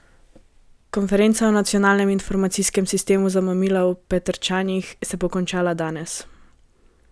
Konferenca o nacionalnem informacijskem sistemu za mamila v Petrčanih se bo končala danes.